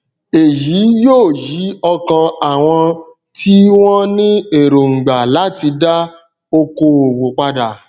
èyí yóò yí ọkàn àwọn tí wọn ní ẹróngbà láti dá okoòwò padà